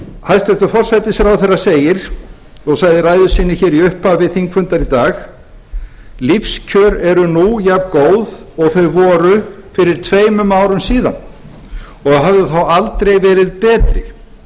hæstvirtur forsætisráðherra segir og sagði í ræðu sinni hér í upphafi þingfundar í dag lífskjör eru nú jafngóð og þau voru fyrir tveimur árum síðan og höfðu þá aldrei verið betri